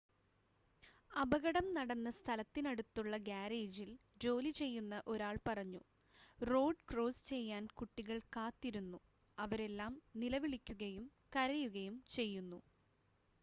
"അപകടം നടന്ന സ്ഥലത്തിനടുത്തുള്ള ഗാരേജിൽ ജോലി ചെയ്യുന്ന ഒരാൾ പറഞ്ഞു: "റോഡ് ക്രോസ് ചെയ്യാൻ കുട്ടികൾ കാത്തിരുന്നു അവരെല്ലാം നിലവിളിക്കുകയും കരയുകയും ചെയ്യുന്നു.""